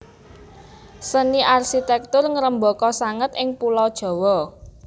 Seni arsitektur ngrembaka sanget ing Pulo Jawa